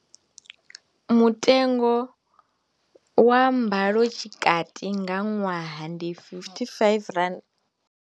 Mutengo wa mbalo tshikati nga ṅwaha ndi R55.